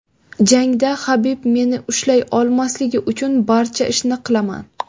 Jangda Habib meni ushlay olmasligi uchun barcha ishni qilaman.